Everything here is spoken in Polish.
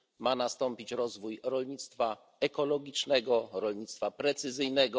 Ma nastąpić rozwój rolnictwa ekologicznego i rolnictwa precyzyjnego.